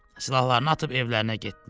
Silahlarını atıb evlərinə getdilər.